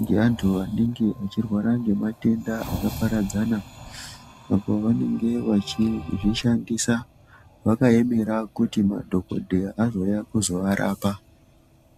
ngeantu anenge achirwara ngematenda akaparadzana apa vanenge vachizvishandisa vakaemera kuti madhogodheya azouya kuzovarapa.